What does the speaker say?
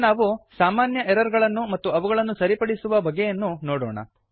ಈಗ ನಾವು ಸಾಮಾನ್ಯ ಎರರ್ ಗಳನ್ನು ಮತ್ತು ಅವುಗಳನ್ನು ಸರಿಪಡಿಸುವ ಬಗೆಯನ್ನೂ ನೋಡೋಣ